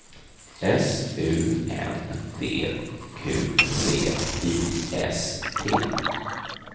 S U N D Q V I S T